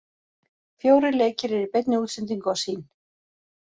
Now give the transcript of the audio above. Fjórir leikir eru í beinni útsendingu á Sýn.